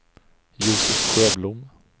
Josef Sjöblom